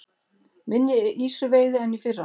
Minni ýsuveiði en í fyrra